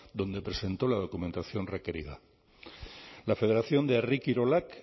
donde presentó la documentación requerida la federación de herri kirolak